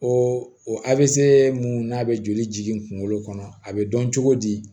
O avc mun n'a bɛ joli kunkolo kɔnɔ a bɛ dɔn cogo di